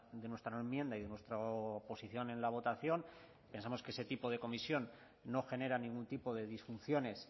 de nuestra enmienda y de nuestra posición en la votación pensamos que ese tipo de comisión no genera ningún tipo de disfunciones